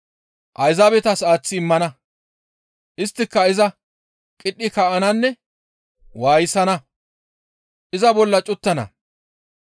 Ayzaabetas aaththi immana; isttika iza qidhi kaa7ananne waayisana; iza bolla cuttana.